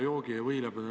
Hea juhataja!